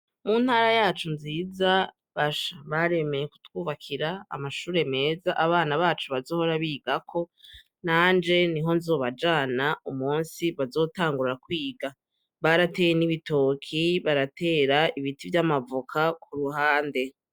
Muntara yacu nziza basha baremeye kutwubakira amashure meza abana bacu bazohora bigako nanje niho nzobajana umunsi bazotangura kwiga barateye n'ibitoki baratera ibiti vyamavoka kuruhande.